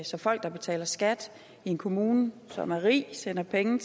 så folk der betaler skat i en kommune som er rig sender penge